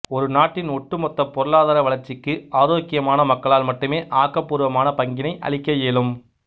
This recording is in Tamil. ஒரு நாட்டின் ஒட்டு மொத்த பொருளாதார வளர்ச்சிக்கு ஆரோக்கியமான மக்களால் மட்டுமே ஆக்கபூர்வமான பங்கினை அளிக்க இயலும்